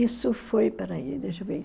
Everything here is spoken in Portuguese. Isso foi, espera aí, deixa eu ver